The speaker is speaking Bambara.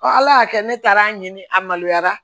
ala y'a kɛ ne taara ɲini a maloya